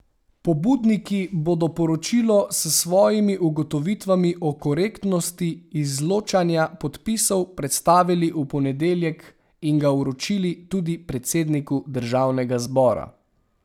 Pobudniki bodo poročilo s svojimi ugotovitvami o korektnosti izločanja podpisov predstavili v ponedeljek in ga vročili tudi predsedniku državnega zbora.